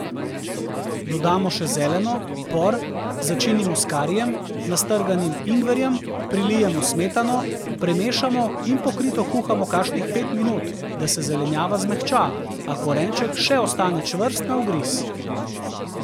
Dodamo še zeleno, por, začinimo s karijem, nastrganim ingverjem, prilijemo smetano, premešamo in pokrito kuhamo kakšnih pet minut, da se zelenjava zmehča, a korenček še ostane čvrst na ugriz.